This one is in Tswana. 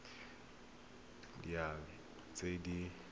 di le tharo tse di